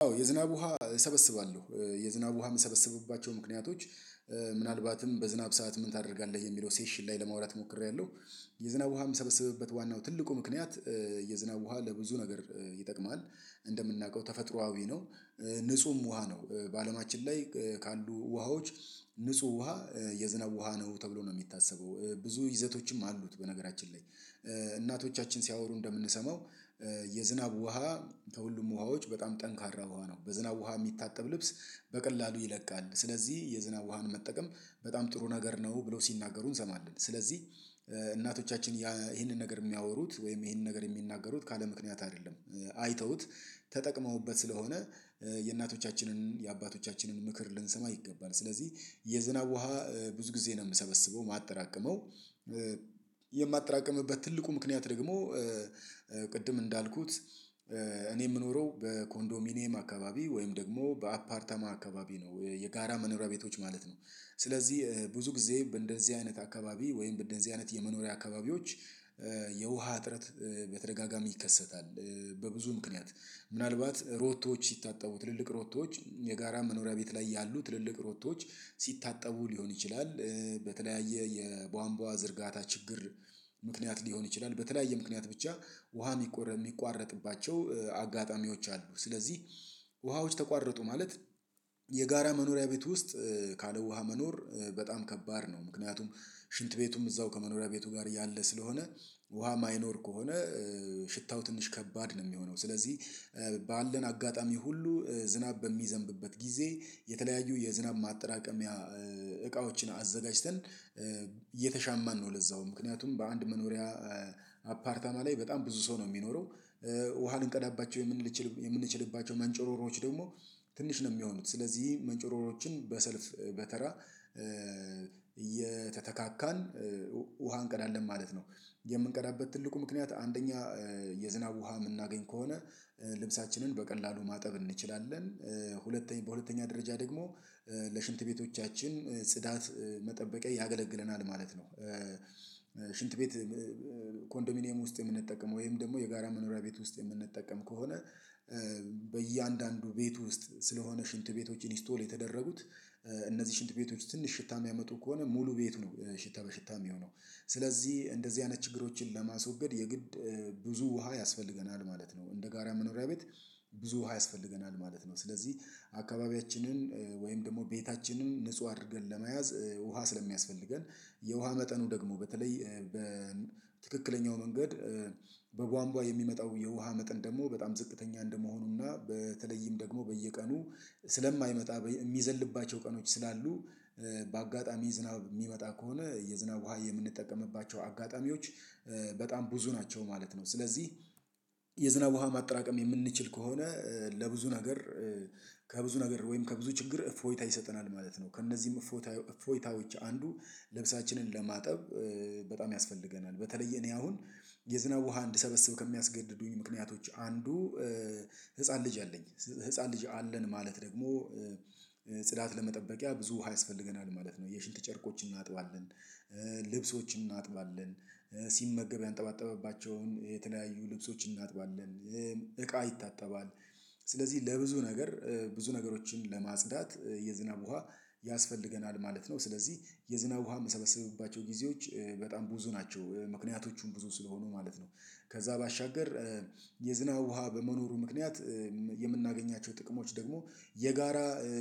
አዎ የዝናብ ውሃ እሰበስባለሁ የዝናብ ውሃ የምሰበስብባቸው ምክንያቶች ምናልባትም በዝናብ ሰዓት ምን ታደርጋለህ? የሚለው ሴሽን ላይ ለማውራት ሞክሬያለሁ። የዝናብ ውሃ የምሰበስብበት ዋናው ትልቁ ምክንያት የዝናብ ውሃ ለብዙ ነገር ይጠቅማል። እንደምናውቀው ተፈጥሮአዊ ነው። ንጹህም ውሃ ነው በአለማችን ላይ ካሉ ውሃዎች ንጹህ ውሃ የዝናብ ውሃ ነው ተብሎ ነው የሚታሰበው ብዙ ይዘቶችም አሉት። በነገራችን ላይ እናቶቻችን ሲያወሩ እንደምንሰማው የዝናብ ውሃ ከሁሉም ውሃዎች በጣም ጠንካራ ውሃ ነው። በዝናብ ውሃ የሚታጠብ ልብስ በቀላሉ ይለቃል ስለዚህ የዝናብ ውሃን መጠቀም በጣም ጥሩ ነገር ነው ብለው ሲናገሩ እንሰማለን። ስለዚህ እናቶቻችን ይሄንን ነገር የሚያወሩት ወይም ይሄንን ነገር የሚናገሩት ካለ ምክንያት አይደለም። አይተውት ተጠቅመውበት ስለሆነ የእናቶቻችንን የአባቶቻችንን ምክር ልንሰማ ይገባል። ስለዚህ የዝናብ ውሃ ብዙ ጊዜ ነው የምሰበስበው የማጠራቅመው። የማጠራቅምበት ትልቁ ምክንያት ደግሞ ቅድም እንዳልኩት እኔ የምኖረው በኮንዶሚኒየም አካባቢ ወይም ደግሞ በአፓርታማ አካባቢ ነው የጋራ መኖሪያ ቤቶች ማለት ነው። ስለዚህ ብዙ ጊዜ በእንደዚህ አይነት አካባቢ ወይም በእንደዚህ አይነት የመኖሪያ አካባቢዎች የውሃ እጥረት በተደጋጋሚ ይከሰታል። በብዙ ምክንያት ምናልባት ሮቶዎች ሲታጠቡት ትልልቅ ሮቶዎች የጋራ መኖሪያ ቤት ላይ ያሉ ትልልቅ ሮቶዎች ሲታጠቡ ሊሆን ይችላል። በተለያየ የቧንቧ ዝርጋታ ችግር ምክንያት ሊሆን ይችላል በተለያየ ምክንያት ብቻ ውሃ የሚቋረጥባቸው አጋጣሚዎች አሉ። ስለዚህ ውሃዎች ተቋረጡ ማለት የጋራ መኖሪያ ቤት ውስጥ ካለ ውሃ መኖር በጣም ከባድ ነው። ምክንያቱም ሽንት ቤቱም እዛው ከመኖሪያ ቤቱ ጋር ያለ ስለሆነ ውሃ የማይኖር ከሆነ ሽታው ትንሽ ከባድ ነው የሚሆነው። ስለዚህ ባለን አጋጣሚ ሁሉ ዝናብ በሚዘንብበት ጊዜ የተለያዩ የዝናብ ማጠራቀሚያ እቃዎችን አዘጋጅተን እየተሻማን ነው። ለዛውም ምክንያቱም በአንድ መኖሪያ አፓርታማ ላይ በጣም ብዙ ሰው ነው የሚኖረው። ውሃ ልንቀዳባቸው የምንችል የምንችልባቸው መንጨሮሮዎች ደግሞ ትንሽ ነው የሚሆኑት ስለዚህ መንጨሮሮዎችን በሰልፍ በተራ እየተተካካን ውሃ እንቀዳለን ማለት ነው። የምንቀዳበት ትልቁ ምክንያት አንደኛ የዝናብ ውሃ የምናገኝ ከሆነ ልብሳችንን በቀላሉ ማጠብ እንችላለን። ሁለተኛ በሁለተኛ ደረጃ ደግሞ ለሽንት ቤቶቻችን ጽዳት መጠበቂያ ያገለግለናል ማለት ነው። ሽንት ቤት ኮንዶሚኒየም ውስጥ የምንጠቀመው ወይም ደግሞ የጋራ መኖሪያ ቤት ውስጥ የምንጠቀም ከሆነ በእያንዳንዱ ቤት ውስጥ ስለሆነ ሽንት ቤቶችን ኢንስቶል የተደረጉት እነዚህ ሽንት ቤቶች ትንሽ ሽታ የሚያመጡ ከሆነ ሙሉ ቤቱ ነው ሽታ በሽታ የሚሆነው። ስለዚህ እንደዚህ አይነት ችግሮችን ለማስወገድ የግድ ብዙ ውሃ ያስፈልገናል ማለት ነው። እንደ ጋራ መኖሪያ ቤት ብዙ ውሃ ያስፈልገናል ማለት ነው። ስለዚህ አካባቢያችንን ወይም ደግሞ ቤታችንን ንጹህ አድርገን ለመያዝ ውሃ ስለሚያስፈልገን የውሃ መጠኑ ደግሞ በተለይ በትክክለኛው መንገድ በቧንቧ የሚመጣው የውሃ መጠን ደግሞ በጣም ዝቅተኛ እንደመሆኑና በተለይም ደግሞ በየቀኑ ስለማይመጣ የሚዘልባቸው ቀኖች ስላሉ በአጋጣሚ ዝናብ የሚመጣ ከሆነ የዝናብ ውሃ የምንጠቀምባቸው አጋጣሚዎች በጣም ብዙ ናቸው ማለት ነው። ስለዚህ የዝናብ ውሃ ማጠራቀም የምንችል ከሆነ ለብዙ ነገር ከብዙ ነገር ወይም ከብዙ ችግር እፎይታ ይሰጠናል ማለት ነው። ከእነዚህም እፎይታ እፎይታዎች አንዱ ልብሳችንን ለማጠብ በጣም ያስፈልገናል በተለየ እኔ አሁን የዝናብ ውሃ እንድሰበስብ ከሚያስገድዱኝ ምክንያቶች አንዱ ህፃን ልጅ አለኝ። ህፃን ልጅ አለን ማለት ደግሞ ጽዳት ለመጠበቂያ ብዙ ውሃ ያስፈልገናል ማለት ነው የሽንት ጨርቆችን እናጥባለን። ልብሶችን እናጥባለን ሲመገብ ያንጠባጠባቸውን የተለያዩ ልብሶች እናጥባለን እቃ ይታጠባል። ስለዚህ ለብዙ ነገር ብዙ ነገሮችን ለማጽዳት የዝናብ ውሃ ያስፈልገናል ማለት ነው። ስለዚህ የዝናብ ውሃ የምሰበስብባቸው ጊዜዎች በጣም ብዙ ናቸው ምክንያቶቹም ብዙ ስለሆኑ ማለት ነው። ከዛ ባሻገር የዝናብ ውሃ በመኖሩ ምክንያት የምናገኛቸው ጥቅሞች ደግሞ የጋራ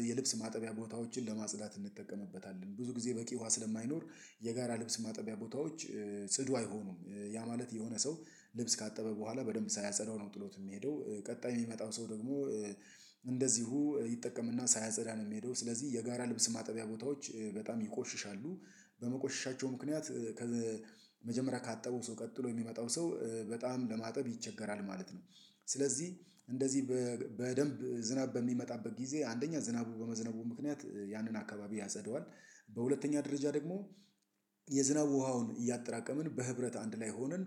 የልብስ ማጠቢያ ቦታዎችን ለማጽዳት እንጠቀምበታለን ብዙ ጊዜ በቂ ውሃ ስለማይኖር የጋራ ልብስ ማጠቢያ ቦታዎች ጽዱ አይሆኑም። ያ ማለት የሆነ ሰው ልብስ ካጠበ በኋላ በደንብ ሳያጸዳው ነው ጥሎት የሚሄደው። ቀጣይ የሚመጣው ሰው ደግሞ እንደዚሁ ይጠቀምና ሳያጸዳ ነው የሚሄደው። ስለዚህ የጋራ ልብስ ማጠቢያ ቦታዎች በጣም ይቆሽሻሉ። በመቆሻቸው ምክንያት ከመጀመሪያ ካጠበው ሰው ቀጥሎ የሚመጣው ሰው በጣም ለማጠብ ይቸገራል ማለት ነው። ስለዚህ እንደዚህ በደንብ ዝናብ በሚመጣበት ጊዜ አንደኛ ዝናቡ በመዝነቡ ምክንያት ያንን አካባቢ ያጸደዋል። በሁለተኛ ደረጃ ደግሞ የዝናብ ውሃውን እያጠራቀምን በህብረት አንድ ላይ ሆነን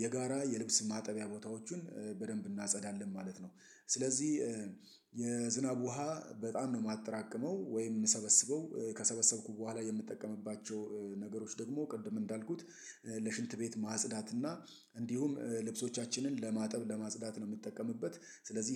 የጋራ የልብስ ማጠቢያ ቦታዎችን በደንብ እናጸዳለን ማለት ነው። ስለዚህ የዝናብ ውሃ በጣም ነው የማጠራቅመው ወይም ምሰበስበው ከሰበሰብኩ በኋላ የምጠቀምባቸው ነገሮች ደግሞ ቅድም እንዳልኩት ለሽንት ቤት ማጽዳት እና እንዲሁም ልብሶቻችንን ለማጠብ ለማጽዳት ነው የምጠቀምበት። ስለዚህ